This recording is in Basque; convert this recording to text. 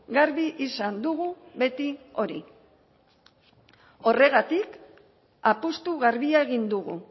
garbi izan dugu beti hori horregatik apustu garbia egin dugu